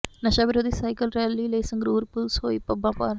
ਨਸ਼ਾ ਵਿਰੋਧੀ cycle rally ਲਈ ਸੰਗਰੂਰ ਪੁਲੀਸ ਹੋਈ ਪੱਬਾਂ ਭਾਰ